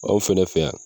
Anw fɛnɛ fɛ yan